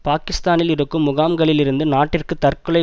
பாக்கிஸ்தானில் இருக்கும் முகாம்களிலிருந்து நாட்டிற்கு தற்கொலை